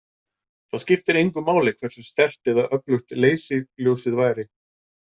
Það skiptir engu máli hversu sterkt eða öflugt leysiljósið væri.